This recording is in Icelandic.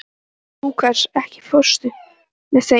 Lúkas, ekki fórstu með þeim?